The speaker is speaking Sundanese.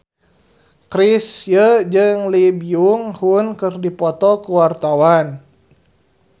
Chrisye jeung Lee Byung Hun keur dipoto ku wartawan